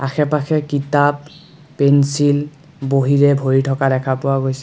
আশে-পাশে কিতাপ পেঞ্চিল বহীৰে ভৰি থকা দেখা পোৱা গৈছে।